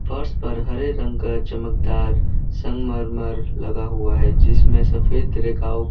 फर्श पर हरे रंग का चमकदार संगमरमर लगा हुआ है जिसमें सफेद रे--